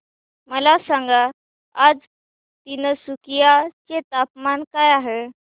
मला सांगा आज तिनसुकिया चे तापमान काय आहे